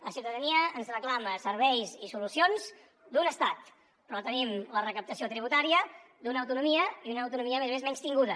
la ciutadania ens reclama serveis i solucions d’un estat però tenim la recaptació tributària d’una autonomia i una autonomia a més a més menystinguda